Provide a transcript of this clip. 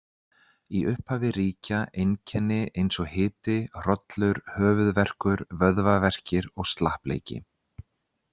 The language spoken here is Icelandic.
Í upphafi ríkja einkenni eins og hiti, hrollur, höfuðverkur, vöðvaverkir og slappleiki.